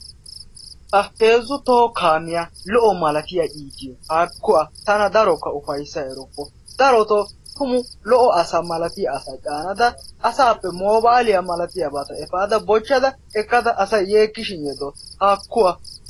Ha heezzu toho kaamiya lo"o malatiya iitiyo haakku a tana darokka ufayissa erukku. Daroto tumu lo"o asa malatiya asa caanada asaappe moobaaliya malatiyabata epaada bochchada ekkada asayi yeekkishin yeddawus. Haakku a